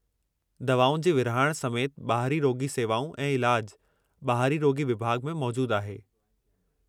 दवाउनि जी विरिहाइण समेति ॿाहिरीं रोॻी सेवाऊं ऐं इलाज, ॿाहिरीं रोॻी विभाॻ में मौजूदु आहे।